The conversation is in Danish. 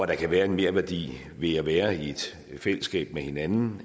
der kan være en merværdi ved at være i et fællesskab med hinanden